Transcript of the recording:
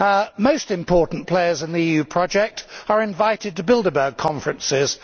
The most important players in the EU project are invited to Bilderberg conferences.